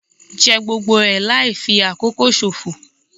Jẹ gbogbo ẹ̀ láì fi àkókò ṣòfò.